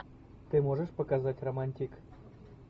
ты можешь показать романтик